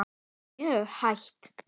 Mjög hægt.